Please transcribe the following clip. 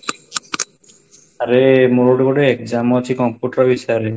ଆରେ ମୋର ଗୋଟେ exam ଅଛି computer ବିଷୟରେ